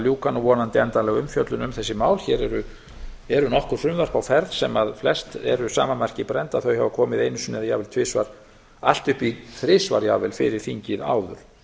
ljúka nú vonandi endanlega umfjöllun um þessi mál hér eru nokkur frumvörp á ferð sem flest eru sama marki brennd að þau hafa komið einu sinni eða jafnvel tvisvar allt upp í þrisvar jafnvel fyrir þingið áður